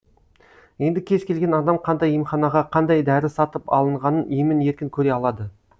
енді кез келген адам қандай емханаға қандай дәрі сатып алынғанын емін еркін көре алады